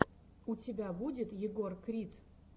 у тебя будет егор крид